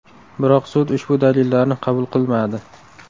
Biroq sud ushbu dalillarni qabul qilmadi.